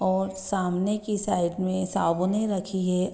और सामने की साइड में साबुने रखी है।